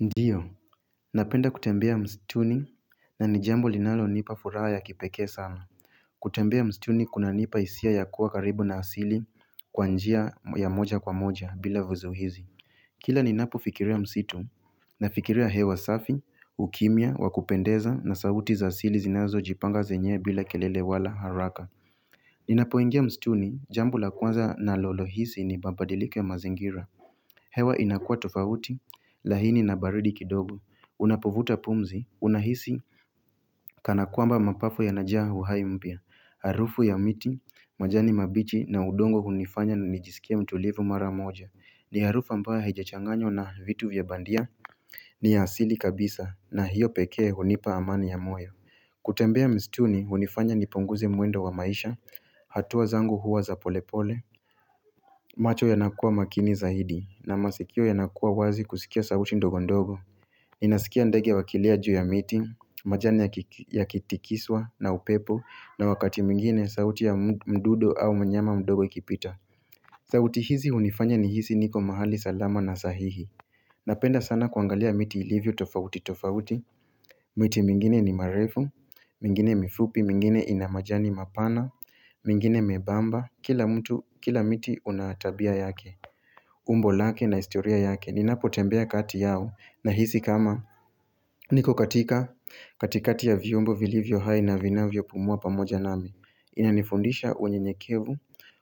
Ndiyo, napenda kutembea mstuni na ni jambo linalonipa furaha ya kipekee sana. Kutembea msituni kunanipa hisia ya kuwa karibu na asili kwa njia ya moja kwa moja bila vizuizi. Kila ninapo fikiria msitu nafikiria hewa safi, ukimya, wakupendeza na sauti za asili zinazojipanga zenyewe bila kelele wala haraka. Ninapoingia mstuni, jambo la kwanza nalolohisi ni mabadiliko ya mazingira. Hewa inakua tofauti, laini na baridi kidogo, unapovuta pumzi, unahisi, kana kwamba mapafu yanajaa uhai mpya Harufu ya miti, majani mabichi na udongo hunifanya nijisikie mtulivu mara moja ni harufa ambayo hijachanganywa na vitu vya bandia ni asili kabisa na hiyo pekee hunipa amani ya moyo kutembea mstuni hunifanya nipunguze mwendo wa maisha, hatua zangu huwa za polepole macho yanakua makini zaidi na masikio yanakua wazi kusikia sauti ndogo ndogo Inasikia ndege wakilia juu ya miti, majani yakitikiswa na upepo na wakati mwingine sauti ya mdudu au mnyama mdogo ikipita sauti hizi hunifanya nihisi niko mahali salama na sahihi Napenda sana kuangalia miti ilivyo tofauti tofauti miti mingine ni marefu, mingine mifupi, mingine ina majani mapana mingine membamba Kila mtu, kila miti una tabia yake umbo lake na historia yake Ninapotembea kati yao Nahisi kama niko katika katikati ya viumbo vilivyo hai na vinavyo pumua pamoja nami Inanifundisha unyenyekevu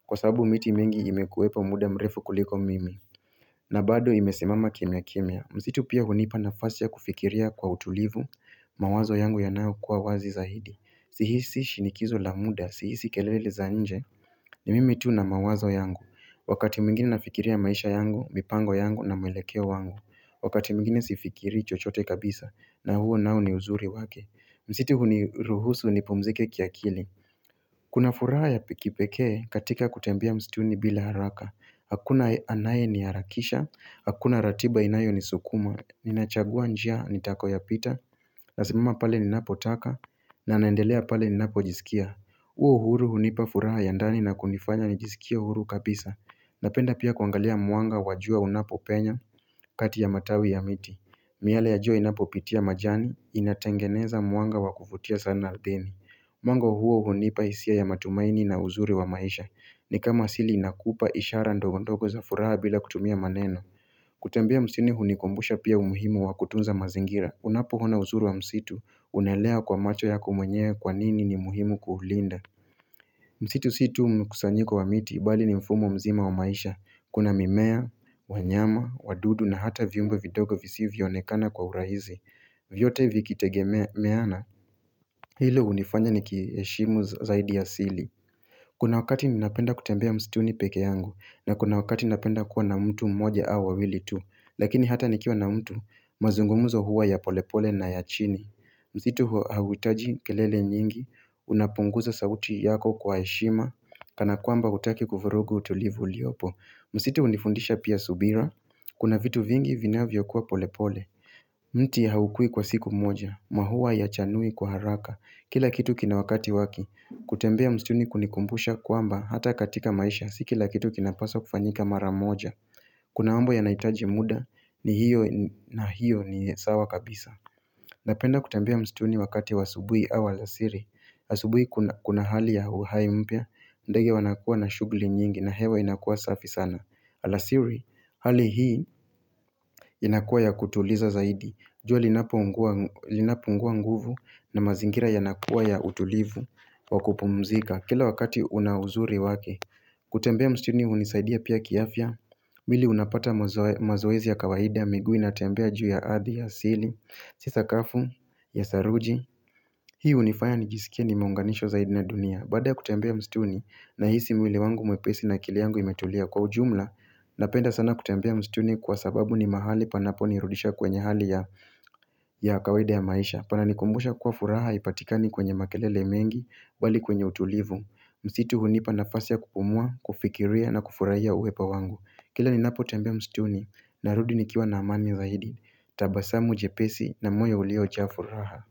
Kwa sabu miti mengi imekuwepo muda mrefu kuliko mimi na bado imesimama kimya kimya Msitu pia hunipa nafasi ya kufikiria kwa utulivu mawazo yangu yanayo kuwa wazi zaidi Sihisi shinikizo la muda Sihisi kelele za nje ni mimi tu na mawazo yangu Wakati mwingine nafikiria maisha yangu, mipango yangu na mwelekeo wangu Wakati mwingine sifikirii chochote kabisa na huo nao ni uzuri wake Msitu huniruhusu nipumzike kiakili Kuna furaha ya pekee katika kutembea mstuni bila haraka Hakuna anaye niharakisha Hakuna ratiba inayo nisukuma Ninachagua njia nitakoyopita Nasimama pale ninapotaka na naendelea pale ni napojisikia Uo uhuru hunipa furaha ya ndani na kunifanya nijisikie huru kabisa Napenda pia kuangalia mwanga wajua unapo penya kati ya matawi ya miti miale ya jua inapo pitia majani, inatengeneza mwanga wa kuvutia sana ardhini Mwanga huo hunipa hisia ya matumaini na uzuri wa maisha ni kama asili inakupa ishara ndogo ndogo za furaha bila kutumia maneno kutembea msituni hunikumbusha pia umuhimu wa kutunza mazingira Unapo ona uzuru wa msitu, unaelewa kwa macho yako mwenyewe kwa nini ni muhimu kuulinda Msitu si tu mkusanyiko wa miti, bali ni mfumo mzima wa maisha Kuna mimea, wanyama, wadudu na hata viumbe vidogo visivyo onekana kwa urahisi vyote vikitegemeana, hilo hunifanya nikiheshimu zaidi ya asili Kuna wakati ninapenda kutembea msituni pekee yangu na kuna wakati ninapenda kuwa na mtu mmoja au wawili tu Lakini hata nikiwa na mtu, mazungumuzo huwa ya polepole na ya chini Msitu hauhitaji kelele nyingi, unapunguza sauti yako kwa heshima Kana kwamba hutaki kuvurugu utulivu uliopo Msitu hunifundisha pia subira Kuna vitu vingi vinavyokuwa pole pole mti haukui kwa siku moja maua hayachanui kwa haraka Kila kitu kina wakati wake kutembea msituni kunikumbusha kwamba Hata katika maisha Si kila kitu kinapaswa kufanyika mara moja Kuna mambo yanahitaji muda ni hiyo na hiyo ni sawa kabisa Napenda kutembea msituni wakati wa asubuhi au alasiri asubuhi kuna hali ya uhai mpya ndege wanakuwa na shughuli nyingi na hewa inakuwa safi sana Alasiri, hali hii inakuwa ya kutuliza zaidi jua linapungua nguvu na mazingira yanakuwa ya utulivu wa kupumzika, kila wakati una uzuri wake kutembea msituni hunisaidia pia kiafya mwili unapata mazoezi ya kawaida miguu inatembea juu ya ardhi ya asili Si sakafu ya saruji Hii hunifaya nijisikie nimeunganishwa zaidi na dunia Baada ya kutembea msituni nahisi mwili wangu mwepesi na akili yangu imetulia kwa ujumla Napenda sana kutembea msituni kwa sababu ni mahali panapo nirudisha kwenye hali ya kawaida ya maisha Panani kumbusha kuwa furaha haipatikani kwenye makelele mengi bali kwenye utulivu Msitu hunipa nafasi ya kupumua, kufikiria na kufurahia uwepo wangu Kila ninapo tembea msituni narudi nikiwa na amani zaidi tabasamu jepesi na moyo ulio cha furaha.